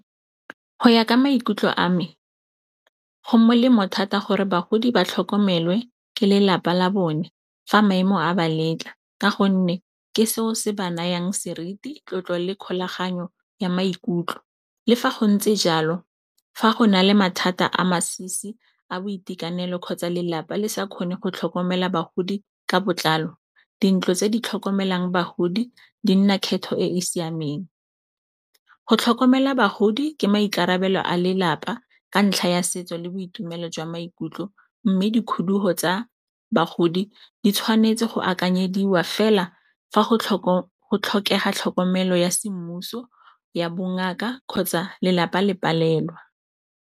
Ho ya ka maikutlo a me, ho molemo thata gore bagodi ba tlhokomele ke lelapa la bone fa maemo a ba letla ka gonne, ke seo se ba nayang seriti, tlotlo le kgolaganyo ya maikutlo. Le fa go ntse jalo fa go na le mathata a masisi a boitekanelo kgotsa lelapa le sa kgone go tlhokomela bagodi ka botlalo, dintlo tse di tlhokomelang bagodi di nna kgetho e e siameng. Go tlhokomela bagodi ke maikarabelo a lelapa ka ntlha ya setso le boitumelo jwa maikutlo, mme di kgudugo tsa bagodi di tshwanetse go akanyediwa fela fa go tlhokega tlhokomelo ya semmuso ya bongaka kgotsa lelapa le palelwa.